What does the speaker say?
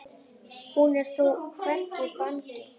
Hún er þó hvergi bangin.